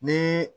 Ni